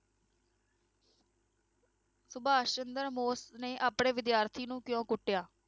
ਸੁਭਾਸ਼ ਚੰਦਰ ਬੋਸ ਨੇ ਆਪਣੇ ਵਿਦਿਆਰਥੀ ਨੂੰ ਕਿਉਂ ਕੁੱਟਿਆ?